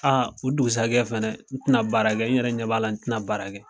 o dugusajɛ fana n tɛna baarakɛ n yɛrɛ ɲɛ b'a la n tɛna baara kɛ.